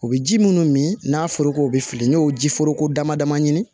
U bɛ ji minnu min n'a fɔra k'o bɛ fili n'i y'o ji foroko dama dama ɲini